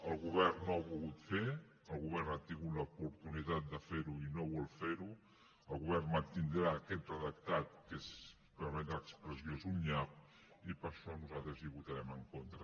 el govern no ho ha volgut fer el govern ha tingut l’oportunitat de fer ho i no vol fer ho el govern mantindrà aquest redactat que si em permet l’expressió és un nyap i per això nosaltres hi votarem en contra